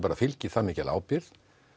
fylgir það mikil ábyrgð